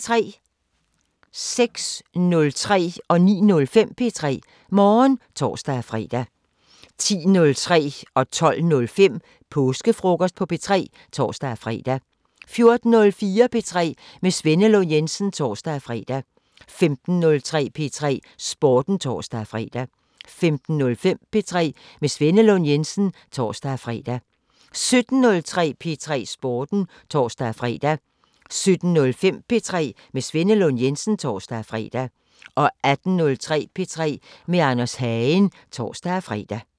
06:03: P3 Morgen (tor-fre) 09:05: P3 Morgen (tor-fre) 10:03: Påskefrokost på P3 (tor-fre) 12:05: Påskefrokost på P3 (tor-fre) 14:04: P3 med Svenne Lund Jensen (tor-fre) 15:03: P3 Sporten (tor-fre) 15:05: P3 med Svenne Lund Jensen (tor-fre) 17:03: P3 Sporten (tor-fre) 17:05: P3 med Svenne Lund Jensen (tor-fre) 18:03: P3 med Anders Hagen (tor-fre)